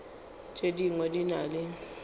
tše dingwe di na le